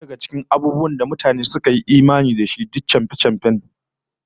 Wasu daga cikin abubuwan da mutane suka yi imani da su, duk chamfe-chamfe ne